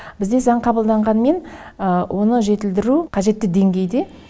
бізде заң қабылданғанымен оны жетілдіру қажетті деңгейде